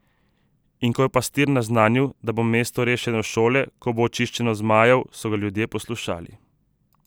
In ko je Pastir naznanil, da bo mesto rešeno šele, ko bo očiščeno zmajev, so ga ljudje poslušali.